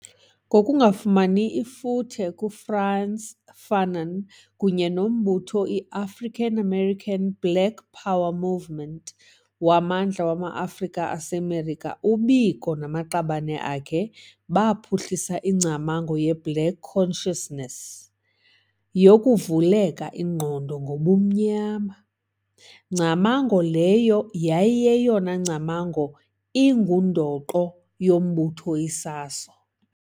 Ngokufumani ifuthe kuFrantz Fanon kunye nombutho iAfrican-American Black Power movement, waMandla wama-Afrika aseMelika, uBiko namaqabane akhe baphuhlisa ingcamango yeBlack Consciousness, yoKuvuleka Ingqondo ngoBumnyama, ngcamango leyo yayi yeyona ngcamango ingundoqo yombutho iSASO.